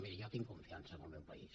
miri jo tinc confiança en el meu país